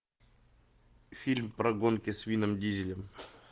фильм про гонки с вином дизелем